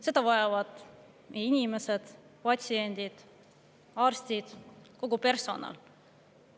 Seda vajavad inimesed: patsiendid, arstid, kogu personal.